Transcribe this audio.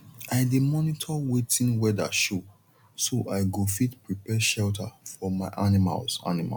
i dey monitor wetin weather show so i go fit prepare shelter for my animals animals